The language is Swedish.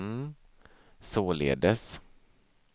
således